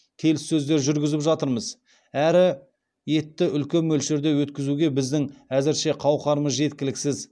келіссөздер жүргізіп жатырмыз әрі етті үлкен мөлшерде жеткізуге біздің әзірше қауқарымыз жеткіліксіз